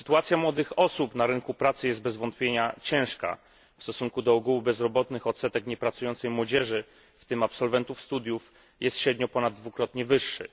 Sytuacja młodych osób na rynku pracy jest bez wątpienia ciężka. W stosunku do ogółu bezrobotnych odsetek niepracującej młodzieży, w tym absolwentów studiów, jest średnio ponad dwukrotnie wyższy.